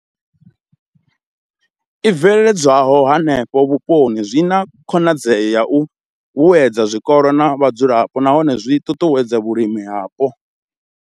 I bveledzwaho henefho vhuponi zwi na khonadzeo ya u vhuedza zwikolo na vhadzulapo nahone zwi ṱuṱuwedza vhulimi hapo.